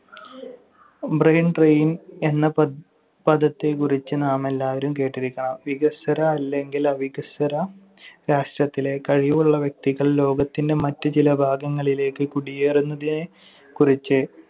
Brain drain എന്ന പദ~ പദത്തെക്കുറിച്ച് നാമെല്ലാവരും കേട്ടിരിക്കണം. വികസ്വര അല്ലെങ്കിൽ അവികസ്വര രാഷ്ടത്തിലെ കഴിവുള്ള വ്യക്തികൾ ലോകത്തിന്‍റെ മറ്റു ചില ഭാഗങ്ങളിലേക്ക് കുടിയേറുന്നതിനെക്കുറിച്ച്